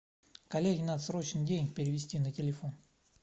коллеге надо срочно денег перевести на телефон